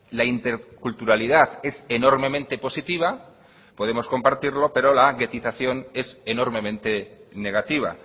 la interculturalidad es enormemente positiva podemos compartirlo pero la guetización es enormemente negativa